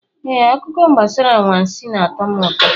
Ee, akụkọ gbasara anwansị na-atọ m ụtọ.